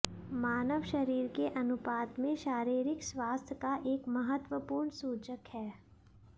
मानव शरीर के अनुपात में शारीरिक स्वास्थ्य का एक महत्वपूर्ण सूचक है